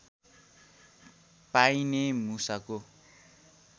पाइने मुसाको